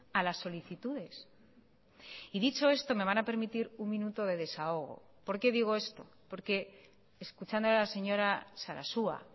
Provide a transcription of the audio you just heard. a las solicitudes y dicho esto me van a permitir un minuto de desahogo por qué digo esto porque escuchando a la señora sarasua